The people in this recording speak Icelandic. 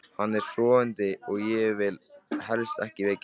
Hann er sofandi og ég vil helst ekki vekja hann.